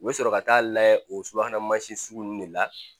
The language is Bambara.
U bɛ sɔrɔ ka taa layɛ o subahana mansin sugu ninnu de la